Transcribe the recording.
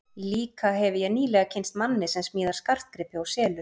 Líka hefi ég nýlega kynnst manni sem smíðar skartgripi og selur.